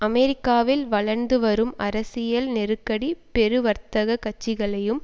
அமெரிக்காவில் வளர்ந்து வரும் அரசியல் நெருக்கடி பெரு வர்த்தக கட்சிகளையும்